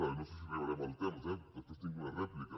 i no sé si arribarem al temps eh després tinc una rèplica